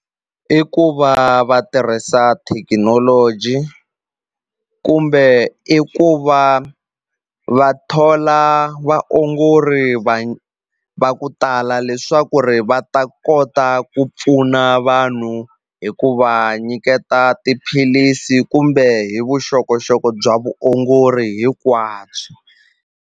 I ku va va tirhisa thekinoloji kumbe i ku va va thola vaongori va ku ta hala leswaku ri va ta kota ku pfuna vanhu hi ku va nyiketa tiphilisi kumbe hi vuxokoxoko bya vuongori hinkwabyo.